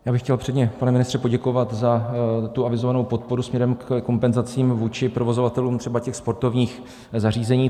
Já bych chtěl předně, pane ministře, poděkovat za tu avizovanou podporu směrem ke kompenzacím vůči provozovatelům třeba těch sportovních zařízení.